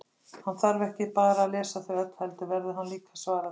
Hann þarf ekki bara að lesa þau öll, heldur verður hann líka að svara þeim.